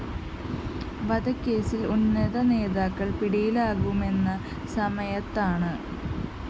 വധക്കേസില്‍ ഉന്നത നേതാക്കള്‍ പിടിയിലാകുമെന്ന സമയത്താണ്